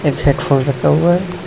एक headphone रखा हुआ है।